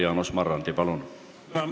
Jaanus Marrandi, palun!